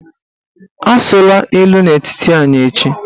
Asụla ilu n'etiti anyị echi!